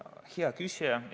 Hea küsija!